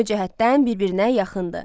ümumi cəhətdən bir-birinə yaxındır.